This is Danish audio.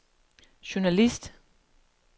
journalist